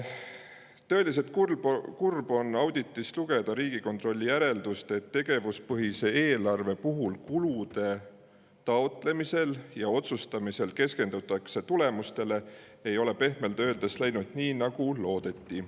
Tõeliselt kurb on auditist lugeda Riigikontrolli järeldust, et tegevuspõhise eelarve puhul kulude taotlemisel ja otsustamisel keskendutakse tulemustele, ei ole see – pehmelt öeldes – läinud nii, nagu loodeti.